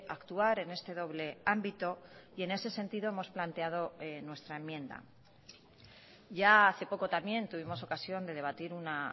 actuar en este doble ámbito y en ese sentido hemos planteado nuestra enmienda ya hace poco también tuvimos ocasión de debatir una